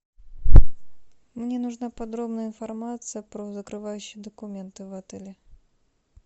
мне нужна подробная информация про закрывающие документы в отеле